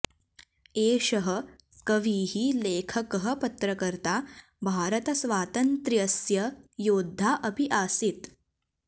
एषः कविः लेखकः पत्रकर्ता भारतस्वातन्त्र्यस्य योद्धा अपि आसीत्